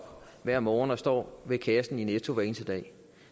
hver morgen og står ved kassen i netto hver eneste dag